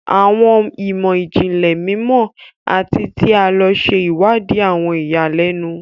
Àwọn imọ-jinlẹ mimọ ati ti a lo ṣe iwadii awọn iyalẹnu.